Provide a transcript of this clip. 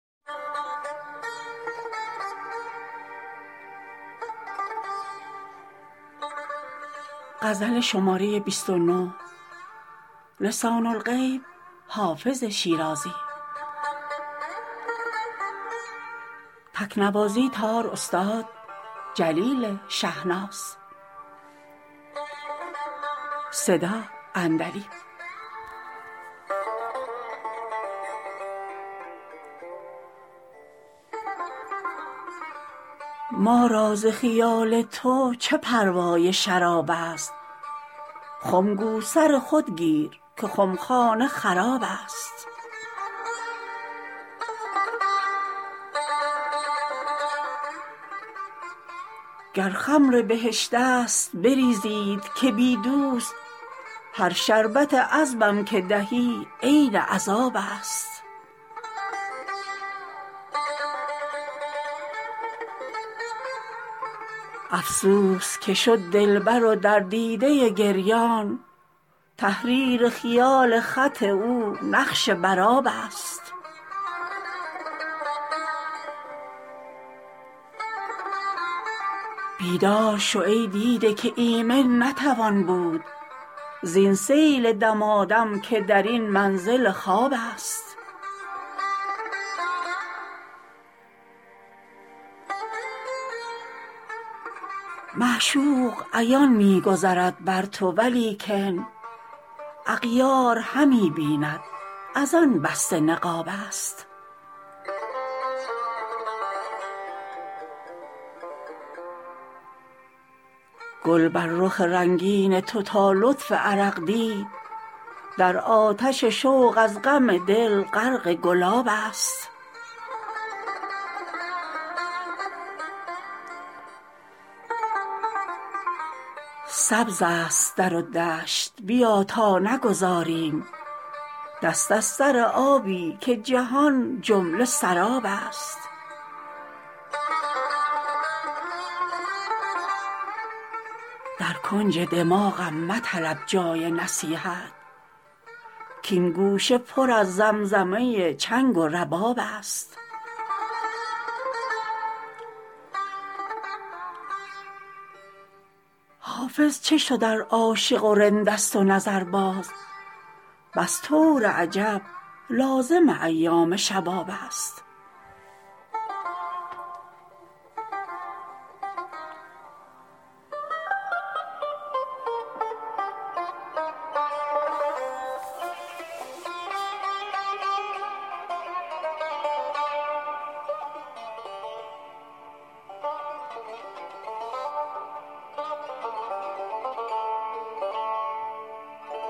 ما را ز خیال تو چه پروای شراب است خم گو سر خود گیر که خمخانه خراب است گر خمر بهشت است بریزید که بی دوست هر شربت عذبم که دهی عین عذاب است افسوس که شد دلبر و در دیده گریان تحریر خیال خط او نقش بر آب است بیدار شو ای دیده که ایمن نتوان بود زین سیل دمادم که در این منزل خواب است معشوق عیان می گذرد بر تو ولیکن اغیار همی بیند از آن بسته نقاب است گل بر رخ رنگین تو تا لطف عرق دید در آتش شوق از غم دل غرق گلاب است سبز است در و دشت بیا تا نگذاریم دست از سر آبی که جهان جمله سراب است در کنج دماغم مطلب جای نصیحت کـ این گوشه پر از زمزمه چنگ و رباب است حافظ چه شد ار عاشق و رند است و نظرباز بس طور عجب لازم ایام شباب است